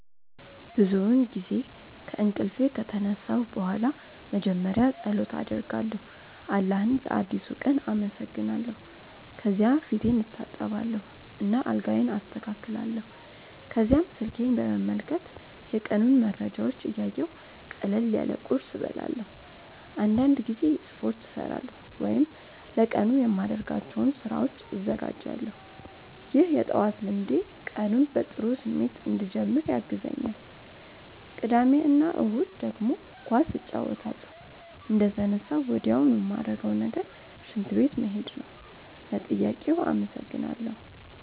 ብዙውን ጊዜ ከእንቅልፌ ከተነሳሁ በኋላ መጀመሪያ ፀሎት አደርጋለሁ አላህን ለአዲሱ ቀን አመሰግናለሁ። ከዚያ ፊቴን እታጠባለሁ እና አልጋዬን አስተካክላለሁ። ከዚያም ስልኬን በመመልከት የቀኑን መረጃዎች እያየሁ ቀለል ያለ ቁርስ እበላለሁ። አንዳንድ ጊዜ ስፖርት እሠራለሁ ወይም ለቀኑ የማደርጋቸውን ስራዎች እዘጋጃለሁ። ይህ የጠዋት ልምዴ ቀኑን በጥሩ ስሜት እንድጀምር ያግዘኛል። ቅዳሜ እና እሁድ ደግሞ ኳስ እጫወታለሁ። እንደተነሳሁ ወዲያውኑ ማረገው ነገር ሽንት ቤት መሄድ ነው። ለጥያቄው አመሰግናለው።